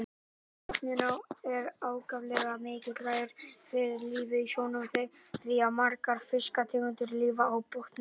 Botninn er ákaflega mikilvægur fyrir lífið í sjónum því að margar fiskategundir lifa á botndýrum.